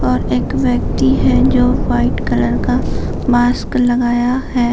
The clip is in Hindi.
और एक व्यक्ति है जो वाइट कलर का मास्क लगाया हैं।